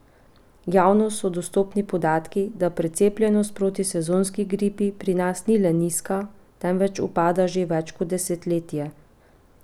Javno so dostopni podatki, da precepljenost proti sezonski gripi pri nas ni le nizka, temveč upada že več kot desetletje!